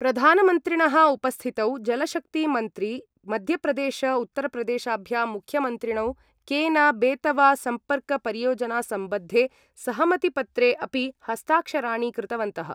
प्रधानमन्त्रिणः उपस्थितौ जलशक्तिमन्त्री मध्य प्रदेश-उत्तर प्रदेशाभ्यां मुख्यमंत्रिणौ केन-बेतवा सम्पर्कपरियोजना-संबद्धे सहमतिपत्रे अपि हस्ताक्षराणि कृतवन्तः।